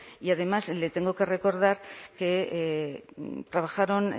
y además le tengo que recordar que trabajaron